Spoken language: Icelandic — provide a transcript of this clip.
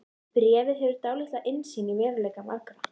Bréfið gefur dálitla innsýn í veruleika margra.